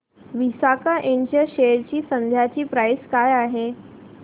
विसाका इंड च्या शेअर ची सध्याची प्राइस काय आहे